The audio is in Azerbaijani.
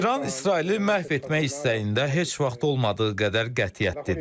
İran İsraili məhv etmək istəyində heç vaxt olmadığı qədər qətiyyətlidir.